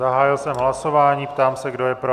Zahájil jsem hlasování, ptám se, kdo je pro.